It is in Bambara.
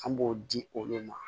An b'o di olu ma